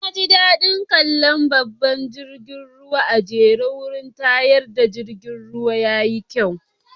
Na ji da'din kalla babban jirigin ruwan a'jere a'wurin tashar jirigin ruwan. Yayi kyau.